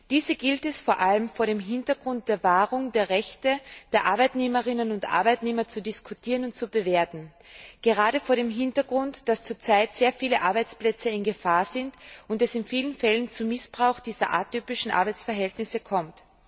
Diese gilt es vor allem vor dem Hintergrund der Wahrung der Rechte der Arbeitnehmerinnen und Arbeitnehmer zu diskutieren und zu bewerten gerade vor dem Hintergrund, dass zurzeit sehr viele Arbeitsplätze in Gefahr sind und es in vielen Fällen zu Missbrauch dieser atypischen Arbeitsverhältnisse kommt.